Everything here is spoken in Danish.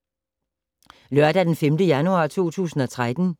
Lørdag d. 5. januar 2013